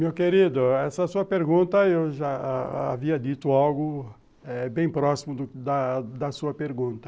Meu querido, essa sua pergunta eu já ha ha havia dito algo eh bem próximo da sua pergunta.